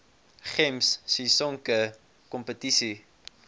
gems sisonke kompetisie